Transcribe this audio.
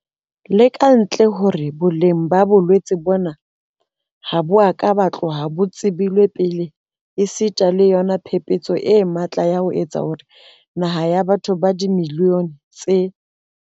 Le ka ntle le hore boleng ba bolwetse bona ha bo a ka ba tloha bo tsebilwe pele esita le yona phephetso e matla ya ho etsa hore naha ya batho ba dimiliyone tse.